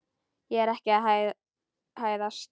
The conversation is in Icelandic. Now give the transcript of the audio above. Ég er ekki að hæðast.